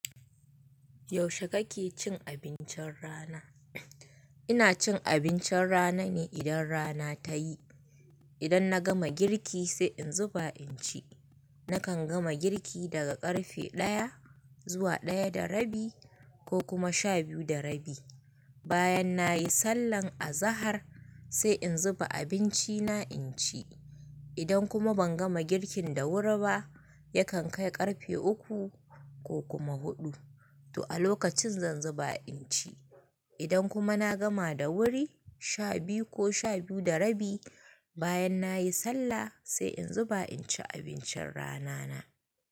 Yaushe kake cin abincin rana? Ina cin abincin rana ne idan rana ta yi. Idan na gama girki sai in zuba in ci. Nakan gama girki daga ƙarfe ɗaya zuwa ɗaya da rabi ko kuma sha biyu da rabi. Bayan na yi sallah a zahar sai in zuba abinci na in ci. Idan kuma ban gama girkin da wuri ba, yakan kai ƙarfe uku ko kuma huɗu to a lokacin zan zuba in ci. Idan kuma na gama da wuri, sha biyu ko sha biyu da rabi bayan na yi sallah sai in zuba in ci abincin rana na.